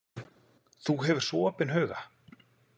Þú hefur svo opinn huga.